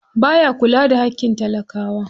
Baya kula da haƙƙin talakawa.